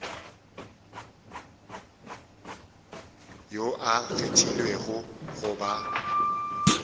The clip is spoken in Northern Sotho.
yo a kgethilwego go ba